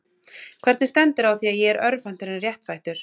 Hvernig stendur á því að ég er örvhentur en réttfættur?